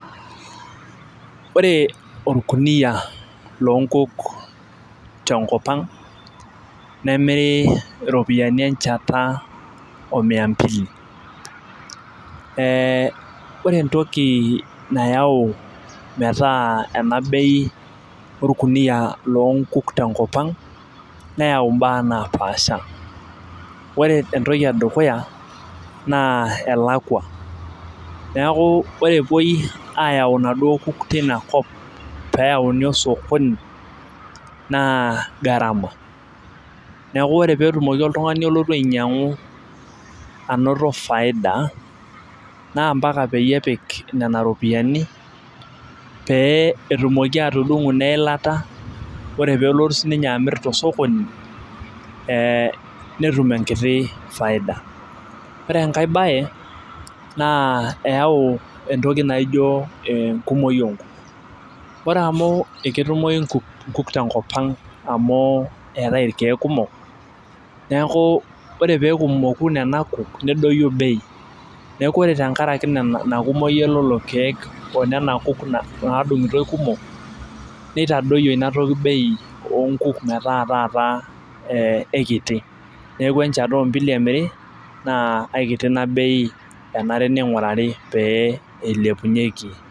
Ore olkuniyia loo nkuk tenakop ang nemiri iropiyiani enchata o mia mbili.ee ore entoki nayau metaa ena bei olkuniyia loo nkuk te nkop ang neyau imbaa naapasha. ore entoki edukuya naa elakua. neeku ore epuoi aayau inaduoo kuk teina kop pee eyauni osokoni, naa gharama. neku ore pee etumoki oltungani olotu ainyiangu anoto faida, naa mpaka peyie epik Nena ropiyiani pee etumoki atudungu ineilata. ore pee nelotu sii ninye amir tosokoni ee netum enkiti faida. ore enkae bae naa eyau entoki naijo enkumoi oo nkuk. ore amu eketumoyi nkuk tenakop ang amu, eetae irkeek kumok. neeku ore pee etumoku Nena kuk nedoyio bei, neeku ore tenkaraki Ina kumoyi elelo keeku onena kuk naadungitoi kumok. neitadoyio Ina toki bei oonkuk metaa taata eikiti. neeku enchata ombili emiri naa eikiti Ina bei, enare ningurari pee ilepunyeki.